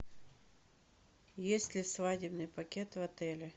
есть ли свадебный пакет в отеле